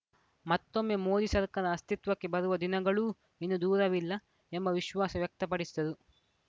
ಮತ್ತೊಮ್ಮೆ ಮೋದಿ ಸರ್ಕಾರ ಅಸ್ತಿತ್ವಕ್ಕೆ ಬರುವ ದಿನಗಳೂ ಇನ್ನು ದೂರವಿಲ್ಲ ಎಂಬ ವಿಶ್ವಾಸ ವ್ಯಕ್ತಪಡಿಸಿದರು